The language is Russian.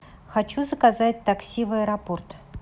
хочу заказать такси в аэропорт